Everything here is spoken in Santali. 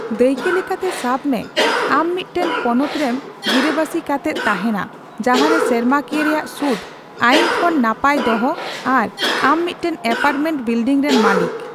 ᱫᱟᱹᱭᱠᱟᱹ ᱞᱮᱠᱟᱛᱮ, ᱥᱟᱵᱽ ᱢᱮ ᱟᱢ ᱢᱤᱫᱴᱟᱝ ᱯᱚᱱᱚᱛ ᱨᱮᱢ ᱜᱤᱨᱟᱹ ᱵᱟᱥᱤ ᱠᱟᱛᱮᱜ ᱛᱟᱦᱮᱸᱱᱟ ᱡᱟᱦᱟᱸᱨᱮ ᱥᱮᱨᱢᱟᱠᱤᱭᱟᱹ ᱨᱮᱭᱟᱜ ᱥᱩᱫᱽ ᱟᱹᱭᱤᱱ ᱠᱷᱚᱱ ᱱᱟᱯᱟᱭ ᱫᱚᱦᱚ ᱟᱨ ᱟᱢ ᱢᱤᱫᱴᱟᱝ ᱮᱯᱟᱨᱴᱢᱮᱱᱴ ᱵᱤᱞᱰᱤᱝ ᱨᱮᱱ ᱢᱟᱹᱞᱤᱠ ᱾